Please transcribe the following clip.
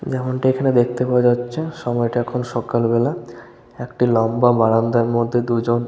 যেমনটা এখানে দেখতে পাওয়া যাচ্ছে সময়টা এখন সকাল বেলা। একটা লম্বা বারান্দার মধ্যে দুজন--